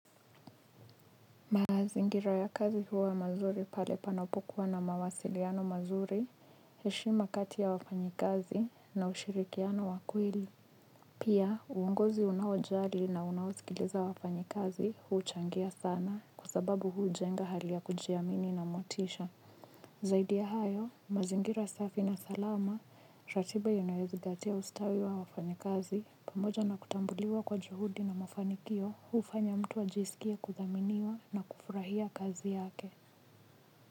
Mazingira ya kazi huwa mazuri pale panopokuwa na mawasiliano mazuri, heshima kati ya wafanyi kazi na ushirikiano wa kweli. Pia, uongozi unaowajali na unaowasikiliza wafanyi kazi, uchangia sana kwasababu ujenga hali ya kujiamini na motisha. Zaidi ya hayo, mazingira safi na salama, ratiba inayozingatia ustawi wa wafanya kazi, pamoja na kutambuliwa kwa juhudi na mafanikio, hufanya mtu ajisikie kuthaminiwa na kufurahia kazi yake.